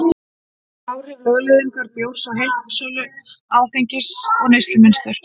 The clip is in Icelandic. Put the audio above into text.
Áhrif lögleiðingar bjórs á heildarsölu áfengis og neyslumynstur